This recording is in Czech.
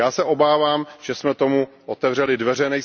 Já se obávám, že jsme tomu otevřeli dveře.